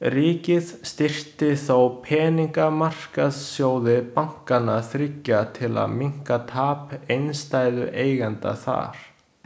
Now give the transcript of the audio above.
Ríkið styrkti þó peningamarkaðssjóði bankanna þriggja til að minnka tap innstæðueigenda þar.